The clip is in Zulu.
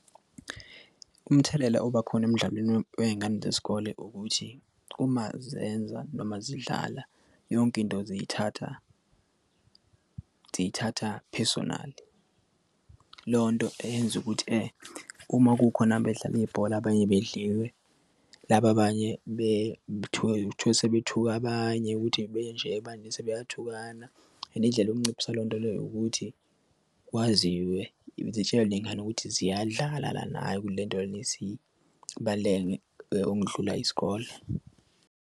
Umthelela obakhona emdlalweni wey'ngane zesikole ukuthi uma zenza noma zidlala yonke into ziyithatha zithatha personal lo nto eyenza ukuthi uma kukhona bedlala ibhola abanye bedliwe laba abanye sebethuke abanye ukuthi manje sebeyathukana and indlela yokunciphisa leyo nto leyo ukuthi kwaziwe zitshalwe ney'ngane ukuthi ziyadlala lana hhayi ukuthi le nto lena isibaluleke okudlula isikole.